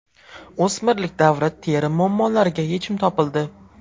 O‘smirlik davri teri muammolariga yechim topildi.